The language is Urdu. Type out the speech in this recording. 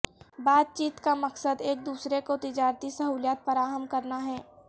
بات چیت کا مقصد ایک دوسرے کو تجارتی سہولیات فراہم کرنا ہے